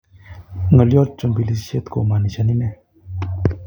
Ng'olyot chombilisiet komanishani nee